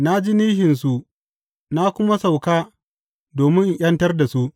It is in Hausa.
Na ji nishinsu na kuma sauka domin in ’yantar da su.